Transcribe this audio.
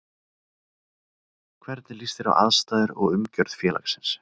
Hvernig líst þér á aðstæður og umgjörð félagsins?